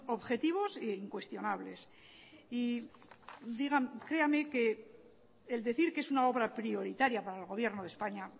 objetivos e incuestionables y creame que el decir que es una obra prioritaria para el gobierno de españa